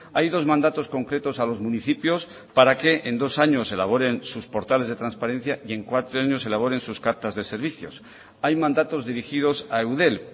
hay dos mandatos concretos a los municipios para que en dos años elaboren sus portales de transparencia y en cuatro años elaboren sus cartas de servicios hay mandatos dirigidos a eudel